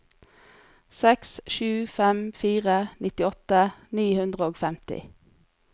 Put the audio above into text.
seks sju fem fire nittiåtte ni hundre og femti